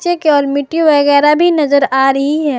केवल मिट्टी वगैरा भी नजर आ रही है।